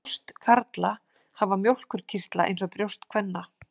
Brjóst karla hafa mjólkurkirtla eins og brjóst kvenna.